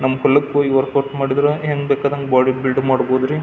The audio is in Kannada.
ನಮ್ಮ ಕುಲಕ್ ವರ್ಕೌಟ್ ಮಾಡಿದ್ರೆ ಹೆಂಗ್ ಬೇಕಾದಂಗ್ ಬಾಡಿ ಬಿಲ್ಡ್ ಮಾಡಬಹುದ್ ರೀ.